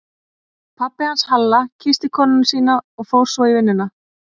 Pabbi hans Halla kyssti konuna sína og fór svo í vinnuna.